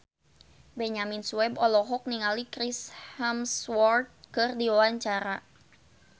Benyamin Sueb olohok ningali Chris Hemsworth keur diwawancara